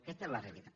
aquesta és la realitat